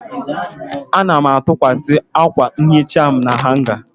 Ana m atụkwasị akwa nhicha m na hanga.